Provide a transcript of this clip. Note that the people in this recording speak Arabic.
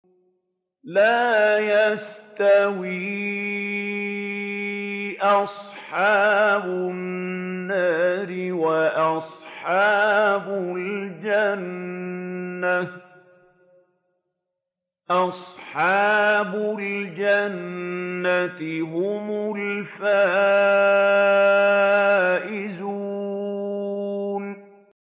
لَا يَسْتَوِي أَصْحَابُ النَّارِ وَأَصْحَابُ الْجَنَّةِ ۚ أَصْحَابُ الْجَنَّةِ هُمُ الْفَائِزُونَ